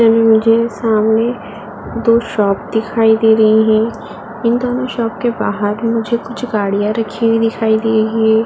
मुझे सामने दो शॉप दिखाई दे रही है। इन दोनों शॉप के बाहर मझे कुछ गाड़ियां रखी हुई दिखाई दे रही है।